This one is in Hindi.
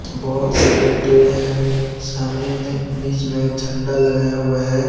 बहोत सारे पेड़ हैं सामने में बीच में झंडा लगाया हुआ है।